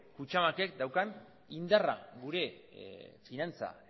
kutxabankek daukan indarra gure finantza